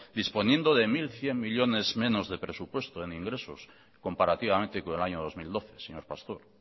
disponiendo de mil cien millónes menos de presupuesto en ingresos comparativamente con el año dos mil doce señor pastor